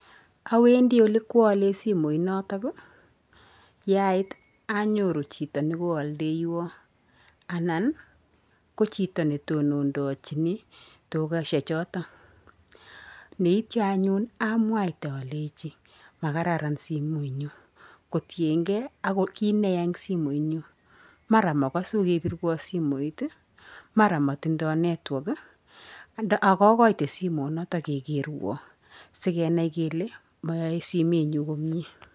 Awendi olekwaalei simooit notok yaait anyoru chito nekoaldeiwon anan ko chito netonondocheni dukeshe choto. Neityo anyun amwaite aleji makararan simooit nyu kotiengei ak kiit neya eng simooit nyu. Mara makasu kepirwo simooit mara matindoo network akagoite simoonoto kegerwo sigenai kele moyae simeennyu komie.